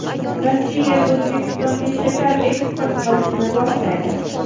Rossiya O‘zbekistonga shakar eksport qilishni boshlaydi.